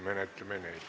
Kohaloleku kontroll, palun!